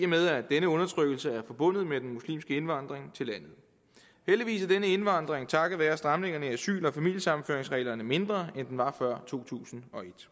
med at denne undertrykkelse er forbundet med den muslimske indvandring til landet heldigvis er denne indvandring takket være stramningerne i asyl og familiesammenføringsreglerne mindre end den var før to tusind og et